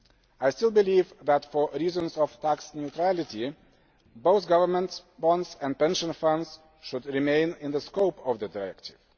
I still believe that, for reasons of tax neutrality, both government bonds and pension funds should remain in the scope of the directive.